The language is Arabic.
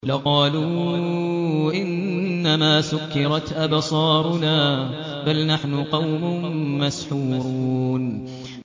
لَقَالُوا إِنَّمَا سُكِّرَتْ أَبْصَارُنَا بَلْ نَحْنُ قَوْمٌ مَّسْحُورُونَ